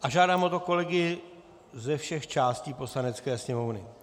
A žádám o to kolegy ze všech částí Poslanecké sněmovny.